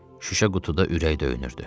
Şüşə qutuda ürək döyünürdü.